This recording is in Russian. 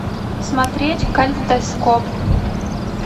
смотреть калейдоскоп